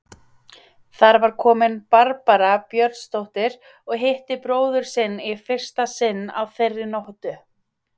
Þar var komin Barbara Björnsdóttir og hitti bróður sinn í fyrsta sinn á þeirri nóttu.